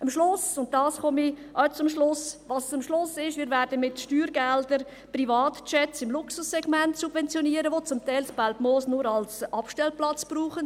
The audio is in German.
Am Schluss, und damit komme ich auch zum Schluss, werden wir mit Steuergeldern Privatjets im Luxussegment subventionieren, welche das Belpmoos zum Teil nur als Abstellplatz brauchen.